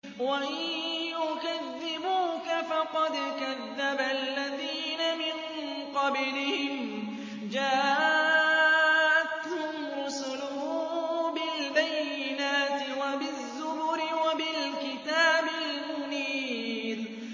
وَإِن يُكَذِّبُوكَ فَقَدْ كَذَّبَ الَّذِينَ مِن قَبْلِهِمْ جَاءَتْهُمْ رُسُلُهُم بِالْبَيِّنَاتِ وَبِالزُّبُرِ وَبِالْكِتَابِ الْمُنِيرِ